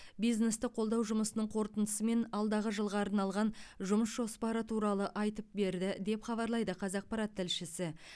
бизнесті қолдау жұмысының қорытындысы мен алдағы жылға арналған жұмыс жоспары туралы айтып берді деп хабарлайды қазақпарат тілшісі